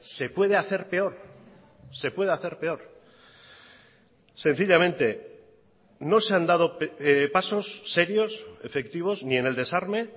se puede hacer peor se puede hacer peor sencillamente no se han dado pasos serios efectivos ni en el desarme